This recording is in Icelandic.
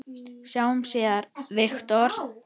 Sjáumst síðar, Viktor.